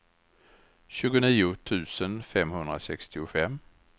tjugonio tusen femhundrasextiofem